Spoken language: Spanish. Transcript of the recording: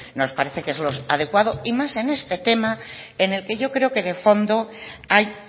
nos parece que es lo adecuado y más en este tema en el que yo creo que de fondo hay